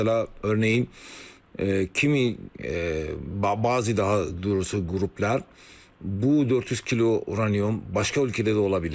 Məsələn, örneğin kimi bəzi daha doğrusu qruplar bu 400 kilo uraniyum başqa ölkələrdə də ola bilər.